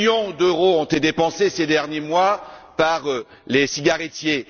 Cinq millions d'euros ont été dépensés ces derniers mois par les cigarettiers.